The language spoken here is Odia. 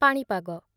ପାଣିପାଗ